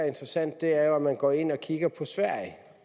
interessante er jo at man går ind og kigger på sverige